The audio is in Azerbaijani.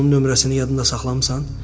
sən faytonun nömrəsini yadında saxlamısan?